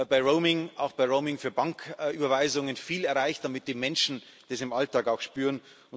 bei Roaming auch bei Roaming für Banküberweisungen viel erreicht, damit die Menschen das im Alltag auch spüren.